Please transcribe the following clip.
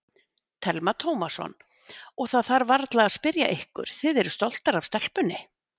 Telma Tómasson: Og það þarf varla að spyrja ykkur, þið eruð stolt af stelpunni?